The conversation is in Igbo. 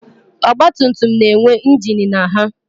Ọgbatumtum na-enwe ingin na ha